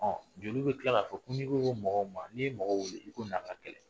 Ɔ joli bɛ tila k' a fɔ ko n"i ko ko mɔgɔ ma n'i ye mɔgɔw ko i na a ka kɛlɛ!